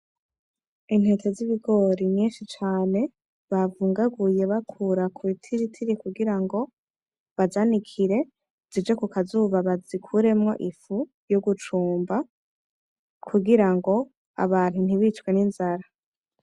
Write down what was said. Intete z’ibigori nyinshi cane bavungaguye bakura kubitiritiri kugirango bazanikire zije kukazuba bazikuremwo ifu yo gucumba kugirango Abantu ntibicwe n’inzara.